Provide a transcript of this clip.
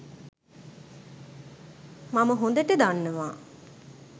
මම හොඳට දන්නවා